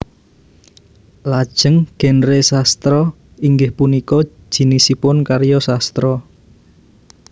Lajeng genre sastra inggih punika jinisipun karya sastra